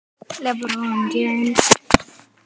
Listina að lifa vel.